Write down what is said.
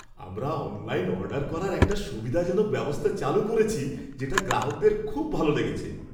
আমরা online order করার একটা সুবিধাজনক ব্যবস্থা চালু করেছি, যেটা গ্রাহকদের খুব ভালো লেগেছে।